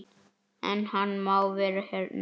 En hann má vera hérna.